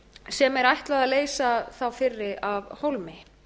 sem er ætlað að leysa þá fyrri af hólmi